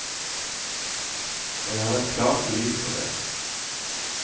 Jeg har et klart bevis på det.